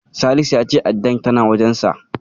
Salisu ya ce addar tana wajensa.